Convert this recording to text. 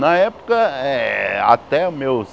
Na época, eh até meus...